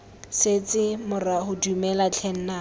setse morago dumela tlhe nnaka